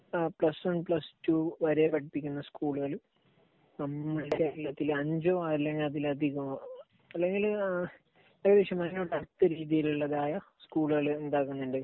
Plus one plus two വരെ പഠിപ്പിക്കുന്ന സ്കൂളുകൾ അഞ്ചോ അല്ലെങ്കിൽ അതിലധികമോ അല്ലെങ്കിൽ ഏകദേശം അതിനടുത്ത രീതിയിലുള്ളതായ സ്കൂളുകൾ ഉണ്ടാകുന്നുണ്ട്.